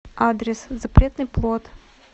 адрес запретный плод